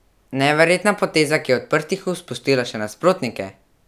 Neverjetna poteza, ki je odprtih ust pustila še nasprotnike!